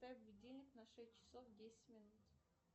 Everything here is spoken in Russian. поставь будильник на шесть часов десять минут